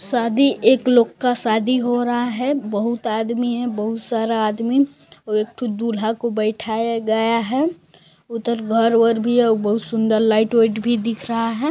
शादी एक लोग का शादी हो रहा है बहुत आदमी है बहुत सारा आदमी और एक ठो दूल्हा को बइठाया गया है उधर घर वर भी है बहुत सुंदर लाइट व्इट भी दिख रहा है।